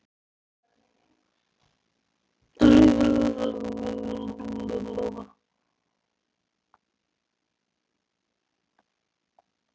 Hellið vökvanum yfir grænmetið í mótinu og sáldrið sykrinum yfir.